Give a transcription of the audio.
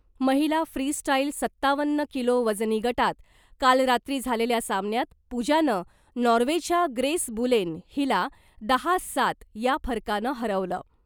महिला फ्रीस्टाईल सत्तावन्न किलो वजनी गटात काल रात्री झालेल्या सामन्यात पूजानं नॉर्वेच्या ग्रेस बुलेन हिला दहा सात या फरकानं हरवलं .